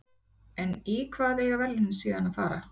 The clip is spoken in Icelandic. En í hvað eiga verðlaunin síðan að fara?